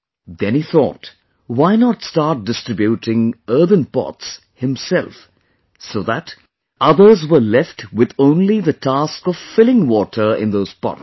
Then he thought... why not start distributing earthen pots himself so that others were left with only the task of filling water in those pots